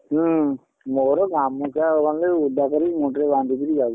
ହୁଁ ମୋର ଗାମୁଛା ଖଣ୍ଡେ ଓଦା କରିକି ମୁଣ୍ଡ ରେ ବାନ୍ଧିକିରି ଯାଉଛି।